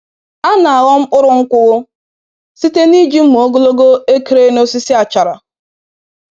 A na aghọ mkpụrụ nkwụ site n'iji mma ogologo ekere n'osisi achara.